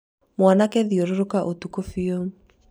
mwanake thiũrũrũka ũtũkũ piũ